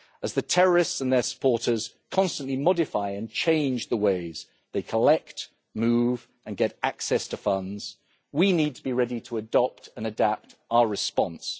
As the terrorists and their supporters constantly modify and change the ways they collect, move and get access to funds, we need to be ready to adopt and adapt our response.